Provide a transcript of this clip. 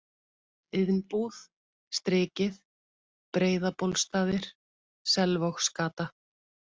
Iðnbúð, Strikið, Breiðabólstaðir, Selvogsgata